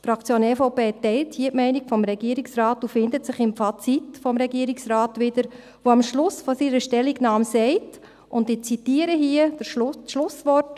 Die Fraktion EVP teilt hier die Meinung des Regierungsrates und findet sich im Fazit des Regierungsrates wieder, der am Schluss seiner Stellungnahme sagt, und ich zitiere hier das Schlusswort: